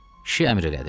Kişi əmr elədi.